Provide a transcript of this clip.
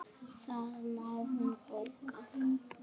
Það má hún bóka.